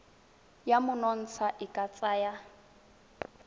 ya monontsha e ka tsaya